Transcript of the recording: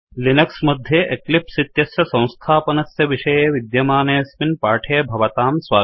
Linux मध्ये Eclipse इत्यस्य संस्थापनस्य विषये विद्यमानेऽस्मिन् पाठे भवतां स्वागतम्